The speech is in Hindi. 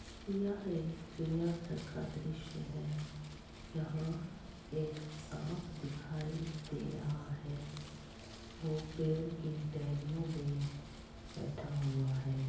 यह एक चिड़िया घर का दृश्य है यह एक साप दिखाई दे रहा है वो पेड़ की टहनीयोमें बैठा हुआ है।